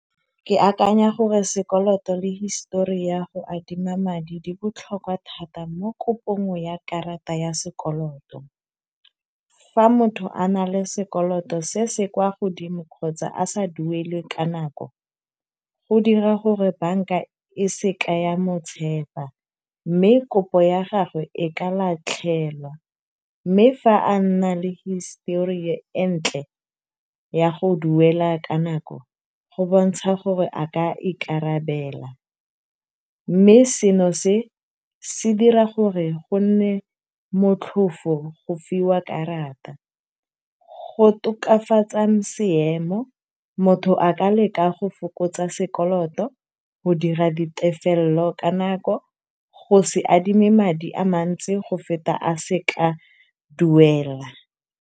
Ke akanya gore sekoloto le hisitori ya go adima madi di botlhokwa thata mo kopong ya karata ya sekoloto. Fa motho a na le sekoloto se se kwa godimo kgotsa a sa duele ka nako, go dira gore banka e seka ya motshepa mme kopo ya gagwe e ka latlhelwa, mme fa a nna le hisitori e e ntle ya go duela ka nako, go bontsha gore a ka ikarabela, mme seno se dira gore go nne motlhofo go fiwa karata. Go tokafatsa seemo, motho a ka leka go fokotsa sekoloto, go dira ditefelelo ka nako, le go se adime madi a mantsi go feta a se ka a duela.